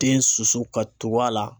Den susu ka tugu a la.